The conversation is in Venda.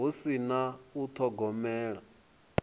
hu si na u thogomela